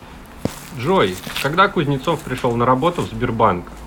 джой когда кузнецов пришел на работу в сбербанк